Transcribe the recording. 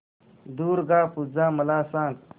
दुर्गा पूजा मला सांग